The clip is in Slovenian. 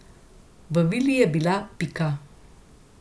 V vili je bila Pika.